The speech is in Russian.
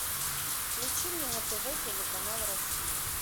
включи мне на тв телеканал россия